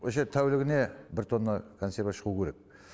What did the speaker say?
осы жерде тәулігіне бір тонна консерві шығу керек